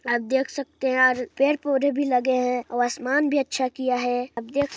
आप देख सकते हैं अउ पेड़-पौधे भी लगे हैं अउ आसमान भी अच्छा किया हैं आप दे--